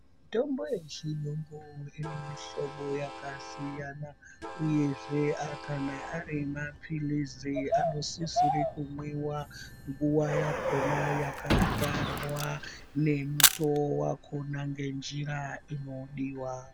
Mitombo yechiyungu ine mihlobo yakasiyana uyezve kana ari mapirizi anosisire kumwiwa nguwa yakona yakatarwa ngemutoo wakona ngenjira inodiwa.